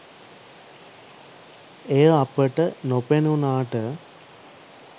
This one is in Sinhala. එය අපට නොපෙනුනාට